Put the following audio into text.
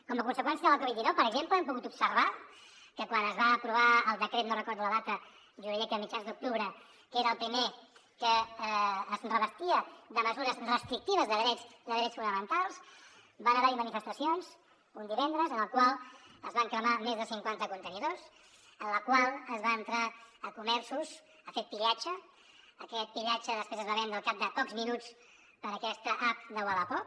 com a conseqüència de la covid dinou per exemple hem pogut observar que quan es va aprovar el decret no recordo la data jo diria que a mitjans d’octubre que era el primer que es revestia de mesures restrictives de drets fonamentals van haver hi manifestacions un divendres en les qual es van cremar més de cinquanta contenidors en les quals es va entrar a comerços ha fer pillatge aquest pillatge després es va vendre al cap de pocs minuts per aquesta app de wallapop